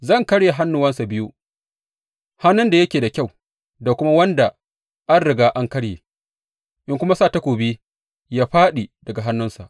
Zan karye hannuwansa biyu, hannun da yake da kyau da kuma wanda an riga an karya, in kuma sa takobi ya fāɗi daga hannunsa.